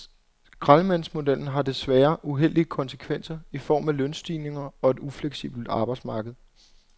Skraldemandsmodellen har desværre uheldige konsekvenser i form af lønstigninger og et ufleksibelt arbejdsmarked.